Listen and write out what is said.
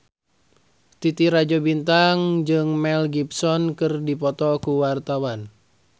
Titi Rajo Bintang jeung Mel Gibson keur dipoto ku wartawan